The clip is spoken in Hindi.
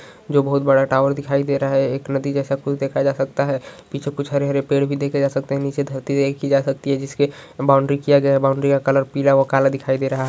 जो बहोत बड़ा टावर दिखाई दे रहा है। एक नदी जैसा कुछ देखा जा सकता है। पीछे कुछ हरे-हरे पेड़ भी देखे जा सकते हैं। नीचे धरती देखी जा सकती है जिसके बाउंड्री किया गया है बाउंड्री का कलर पीला व काला दिखाई दे रहा है।